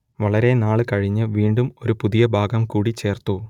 വളരെ നാൾ കഴിഞ്ഞ് വീണ്ടും ഒരു പുതിയ ഭാഗം കൂടി ചേർത്തു